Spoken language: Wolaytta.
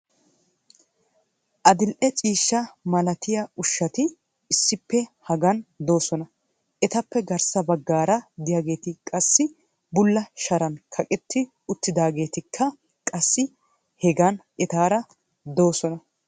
adil'e ciishsha malattiya ushati issippe hagan doosona. etappe garssa baggaara diyaageeti qassi bulla sharan kaqetti utaageettikka qassi hegan etaara doososna.